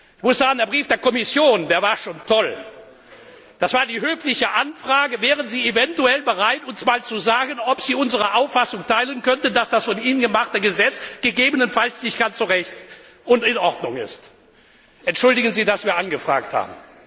Ich muss sagen, der Brief der Kommission, der war schon toll. Das war die höfliche Anfrage Wären Sie eventuell bereit, uns mal zu sagen, ob Sie unsere Auffassung teilen könnten, dass das von Ihnen gemachte Gesetz gegebenenfalls nicht ganz so recht und in Ordnung ist? Entschuldigen Sie, dass wir angefragt